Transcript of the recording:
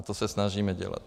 A to se snažíme dělat.